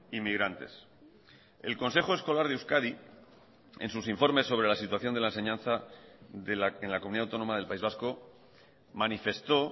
inmigrantes el consejo escolar de euskadi en sus informes sobre la situación de la enseñanza en la comunidad autónoma del país vasco manifestó